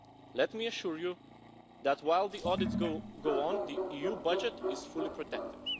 Let me assure you that, while the audits go on, the EU budget is fully protected.